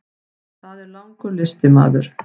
Það er langur listi maður.